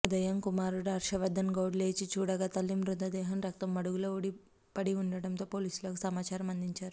ఉదయం కుమారుడు హర్షవర్దన్గౌడ్ లేచి చూడగా తల్లి మృతదేహం రక్తపు మడుగులో పడిఉండటంతో పోలీసులకు సమాచారం అందించారు